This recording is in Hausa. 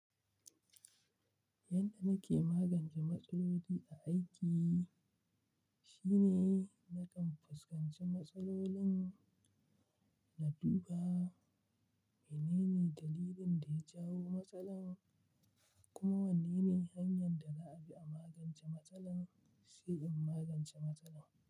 Yadda nake magance matsaloli a aiki shine na kan fuskanci matsalolin, na duba menene dalilin da ya jawo matsalar kuma wane ne hanyar da za a bi a magance matsalar, sai in magance matsalar.